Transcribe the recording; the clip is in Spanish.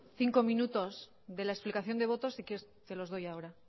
cinco minutos de la explicación de voto si quieres te los doy ahora